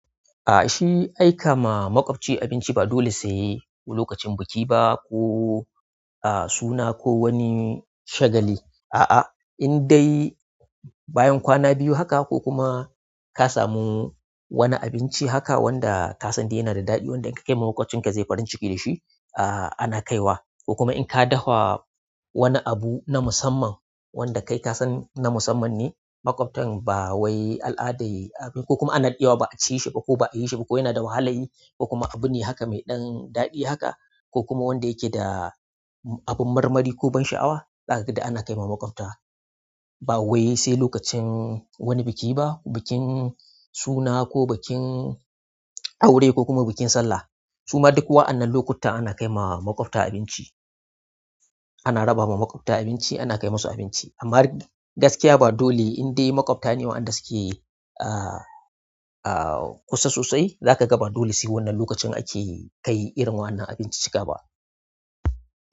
A'a shi aika ma maƙwabci abinci ba dole sai lokacin biki ba ko a suna ko wani shagali. A'a, in dai bayan kwana biyu haka ko kuma ka samu wani abinci haka wanda kasan yana da daɗi maƙwabcinka zai yi farin ciki dashi ana kaiwa ko kuma in ka dafa wani abu na musamman wanda kai ka san na musamman ne, maƙwabtan ba wai al'ada y-y ko kuma ana daɗewa ba a ci shi ba ko ba a yi shi ba ko yana da wahala yi ko kuma abu ne haka mai ɗan ɗadi haka ko kuma wanda yake da abin marmari ko ban sha'awa, zakaga duk ana kaiwa maƙwabta. Ba wai sai lokacin wani biki ba, bikin suna ko bikin aure ko kuma bikin sallah suma duk waɗannan lokuta ana kai ma maƙwabta abinci. Ana raba ma maƙwabta abinci, ana kai musu abinci. Amma gaskiya ba dole, in dai maƙwabta ne wanda suke, ah, ah, kusa sosai, zaka ga ba dole sai wannan lokacin ake kai irin wannan abincin cika ba.